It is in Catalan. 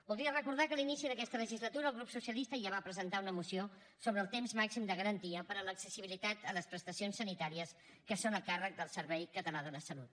voldria recordar que a l’inici d’aquesta legislatura el grup socialista ja va presentar una moció sobre el temps màxim de garantia per a l’accessibilitat a les prestacions sanitàries que són a càrrec del servei català de la salut